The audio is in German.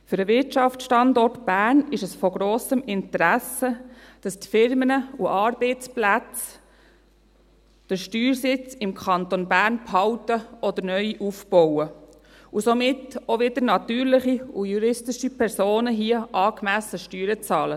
Für den Wirtschaftsstandort Bern ist es von grossem Interesse, dass die Firmen und Arbeitsplätze den Steuersitz im Kanton Bern behalten oder neu aufbauen und somit auch wieder natürliche und juristische Personen hier angemessen Steuern bezahlen.